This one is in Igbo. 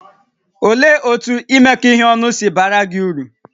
Olee otú imekọ ihe ọnụ si baara gị uru?